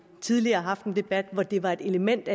tidligere haft en debat hvor det var et element